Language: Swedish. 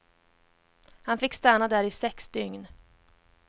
Han fick stanna där i sex dygn.